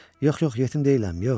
Yox, yox, yetim deyiləm, yox.